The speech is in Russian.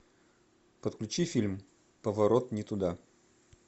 подключи фильм поворот не туда